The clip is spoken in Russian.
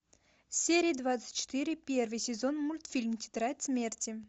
серия двадцать четыре первый сезон мультфильм тетрадь смерти